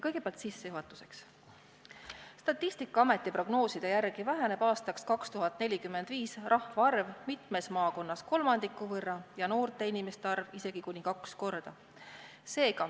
Kõigepealt sissejuhatuseks: Statistikaameti prognooside järgi väheneb aastaks 2045 rahvaarv mitmes maakonnas kolmandiku võrra ja noorte inimeste arv isegi kuni kaks korda.